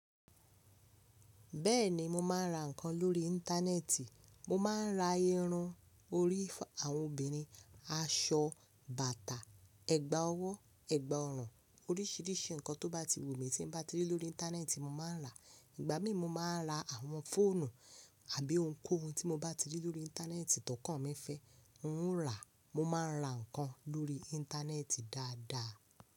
Bẹ́ẹ̀ni mo máa ń ra nǹkan lórí Íńtánẹ́ẹ̀tì, mo máa ń ra irun orí fun àwọn obìnrin, aṣọ, bàtà, ẹ̀gbà ọwọ́, ẹ̀gbà ọrùn, oríṣìíríṣìí nǹkan tó bá ti wù mí tí mo bá ti rí lórí Íńtánẹ́ẹ̀tì mo máa ń rà. Ìgbà mí mo máa ń ra àwọn fóònù àbí ohunkóhun tí mo bá ti rí lórí Íńtánẹ́ẹ̀tì tọkàn mí fẹ́ n ó ń rà. Mo máa ń ra nǹkan lórí Íńtánẹ́ẹ̀tì dáadáa.